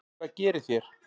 Hvað gerið þér?